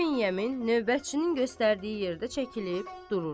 İbn Yemin növbətçinin göstərdiyi yerdə çəkilib durur.